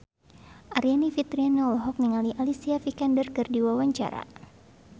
Aryani Fitriana olohok ningali Alicia Vikander keur diwawancara